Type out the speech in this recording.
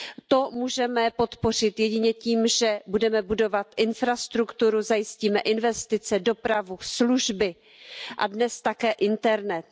To můžeme podpořit jedině tím, že budeme budovat infrastrukturu, zajistíme investice, dopravu, služby a dnes také internet.